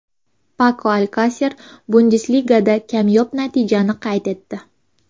Pako Alkaser Bundesligada kamyob natijani qayd etdi.